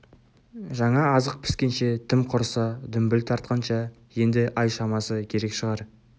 жаңа азық піскенше тым құрыса дүмбіл тартқанша енді ай шамасы керек шығар